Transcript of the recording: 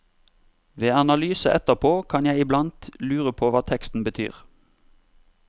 Ved analyse etterpå kan jeg iblant lure på hva teksten betyr.